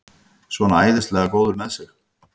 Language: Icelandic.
Svona æðislega góður með sig!